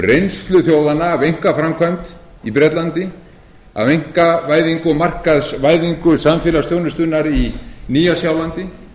reynslu þjóðanna af einkaframkvæmd í bretlandi af einkavæðingu og markaðsvæðingu samfélagsþjónustunnar í nýja sjálandi